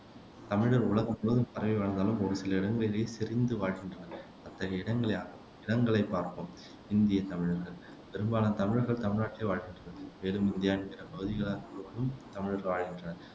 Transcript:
தமிழர் உலகம் முழுவதும் பரவி வாழ்ந்தாலும் ஒரு சில இடங்களிலேயே செறிந்து வாழ்கின்றனர் அத்தகைய இடங்கள அ இடங்களைப் பார்ப்போம் இந்தியத் தமிழர்கள் பெரும்பாலான தமிழர்கள் தமிழ்நாட்டிலேயே வாழ்கின்றனர் மேலும் இந்தியாவின் பிற பகுதிகளிலும் தமிழர்கள் வாழ்கின்றனர்